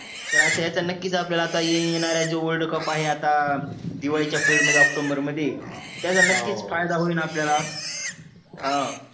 तर अश्या याच्या नक्कीच आता आपल्या येणाऱ्या जो world cup आहे आता दिवाडीच्या period मध्ये ऑक्टोबर मध्ये त्याच्या नक्कीच फायदा होईल आपल्याला हा